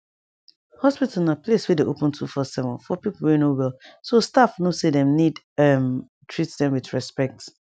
hospital na place wey dey open 247 for peope wey no wellso staff no say dem need um treat dem with respect